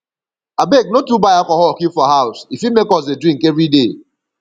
abeg no too buy alcohol keep for house e fit make us dey drink everyday